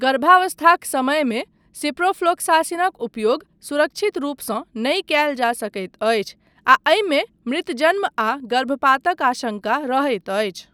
गर्भावस्थाक समयमे सिप्रोफ्लोक्सासिनक उपयोग सुरक्षित रूपसँ नहि कयल जा सकैत अछि आ एहिमे मृतजन्म आ गर्भपातक आशंका रहैत अछि।